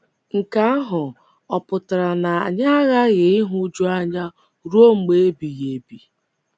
Nke ahụ ọ̀ pụtara na anyị aghaghị ịhụju anya ruo mgbe ebighị ebi?